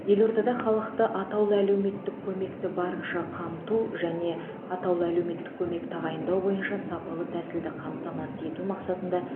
елордада халықты атаулы әлеуметтік көмекті барынша қамту және атаулы әлеуметтік көмек тағайындау бойынша сапалы тәсілді қамтамасыз ету мақсатында